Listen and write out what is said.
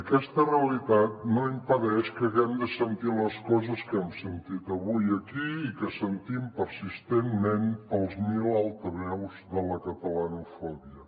aquesta realitat no impedeix que haguem de sentir les coses que hem sentit avui aquí i que sentim persistentment pels mil altaveus de la catalanofòbia